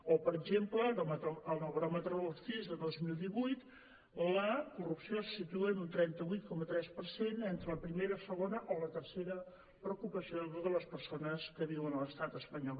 o per exemple en el baròmetre del cis del dos mil divuit la corrupció se situa en un trenta vuit coma tres per cent entre la primera la segona o la tercera preocupació de totes les persones que viuen a l’estat espanyol